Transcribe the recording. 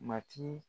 Matigi